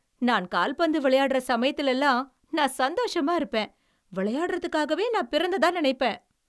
நான் கால்பந்து விளையாடுற சமயத்தில எல்லாம் நான் சந்தோசமா இருப்பேன். விளையாடுறதுக்காகவே நான் பிறந்ததா நினைப்பேன்.